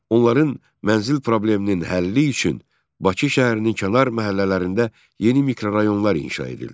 Onların mənzil probleminin həlli üçün Bakı şəhərinin kənar məhəllələrində yeni mikrorayonlar inşa edildi.